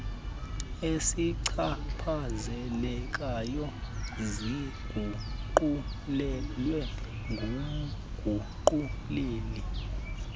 ezichaphazelekayo ziguqulelwe ngumguquleli